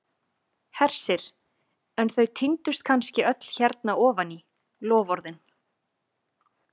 Hersir: en þau týndust kannski öll hérna ofan í, loforðin?